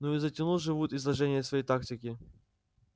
ну и затянул же вуд изложение своей тактики